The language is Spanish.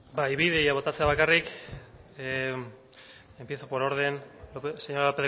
bai bi ideia botatzea bakarrik empiezo por orden señora